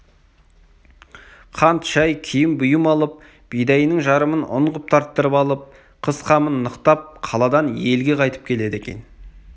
қант шай киім-бұйым алып бидайының жарымын ұн қып тарттырып алып қыс қамын нықтап қаладан елге қайтып келеді екен